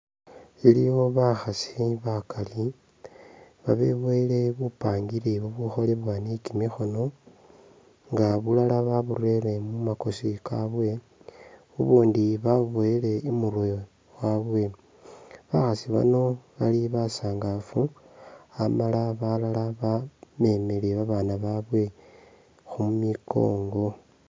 Iliwo bakhasi bakali, babeboyele bupangiri bubukholebwa ni kimikhono nga bulala baburere mumakosi kabwe, bubundi babuboyele imurwe wabwe, bakhasi bano bali basangafu amala balala bamemele babana babwe khu mikongo